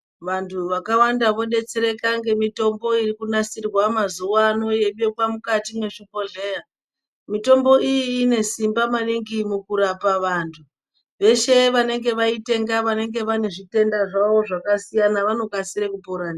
Vantu vakawanda vodetsereka ngemitombo irikunasirwa mazuva ano yeibekwa mukati mezvibhodhlera. Mitombo iyi inesimba maningi mukurapa vanhu. Veshe vanenge vaitenga vanenge vanezvitenda zvavo zvakasiyana, vanokasira kupora ndiyo.